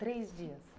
Três dias.